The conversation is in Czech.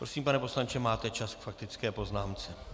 Prosím, pane poslanče, máte čas k faktické poznámce.